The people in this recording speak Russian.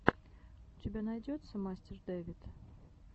у тебя найдется мастер дэвид